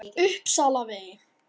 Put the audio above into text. Uppsalavegi